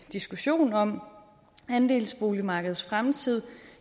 diskussion om andelsboligmarkedets fremtid